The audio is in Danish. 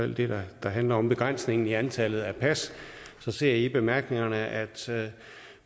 det der handler om begrænsningen i antallet af pas så ser jeg i bemærkningerne at